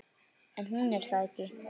En hún er það ekki.